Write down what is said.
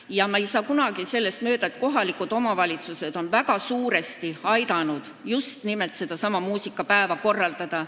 Aga ma ei saa kuidagi mööda sellest, et kohalikud omavalitsused on väga suurel määral aidanud muusikapäeva korraldada.